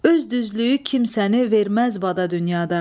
Öz düzlüyü kimsəni verməz vada dünyada.